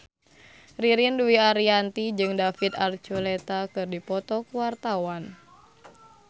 Ririn Dwi Ariyanti jeung David Archuletta keur dipoto ku wartawan